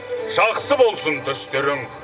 жақсы болсын түстерің